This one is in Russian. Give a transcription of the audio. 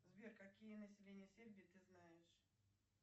сбер какие население сербии ты знаешь